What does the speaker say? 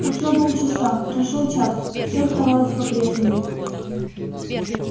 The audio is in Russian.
прошло пол часа прошёл час всё оставалось по прежнему